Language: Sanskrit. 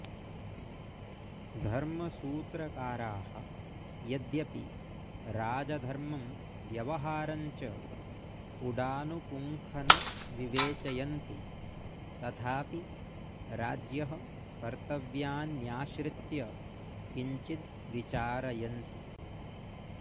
धर्मसूत्रकाराः यद्यपि राजधर्मं व्यवहारं च पुडानुपुङ्खन विवेचयन्ति तथापि राज्ञः कर्त्तव्यान्याश्रित्य किञ्चिद् विचारयन्ति